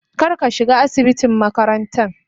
kar ka shiga asibitin makarantan.